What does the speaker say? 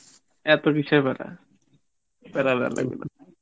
এত কিসের প্যারা? প্যারা নেওয়া লাগবে না